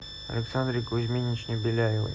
александре кузьминичне беляевой